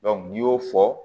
n'i y'o fɔ